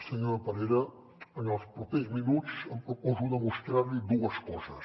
senyora parera en els propers minuts em proposo de mostrar li dues coses